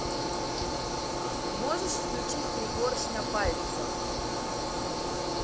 можешь включить пригоршня пальцев